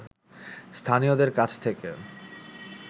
স্থানীয়দের কাছ থেকে